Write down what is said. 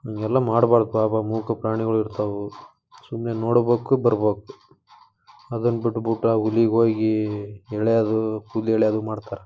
ಇವೆಲ್ಲ ಮಾಡಬಾರದು ಮೂಕ ಪ್ರಾಣಿಗಳು ಇರ್ತಾವು ಸುಮನ್ನೇ ನೋಡಬೇಕು ಬರ್ಬೇಕು. ಅದನ್ನ ಬಿಟ್ಟುಬಿಟ್ಟು ಆ ಹುಲಿ ಗೆ ಹೋಗಿ ಎಲೀಯದು ಕೂದಲು ಎಲೀಯದು ಮಾಡ್ತಾರೆ.